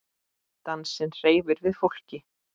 Dansinn hreyfir við fólki.